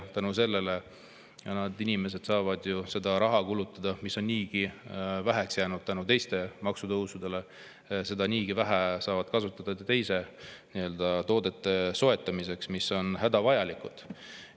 Selle tõttu saavad inimesed ju kulutada raha, mida on niigi väheks jäänud teiste maksutõusude tõttu – seda on niigi vähe –, teiste toodete soetamiseks, mis on hädavajalikud.